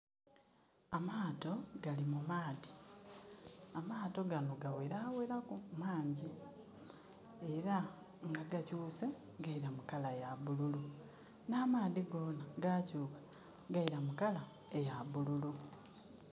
Amaato gali mu maadhi. Amaato gano gaweraweraku mangyi. Era nga gakyuuse gaila mu colour ya bululu, nh'amaadhi goona gakyuuka gaila mu colour eya bululu.